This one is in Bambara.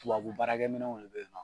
Tubabu baarakɛ minɛw de bɛ ye nɔ.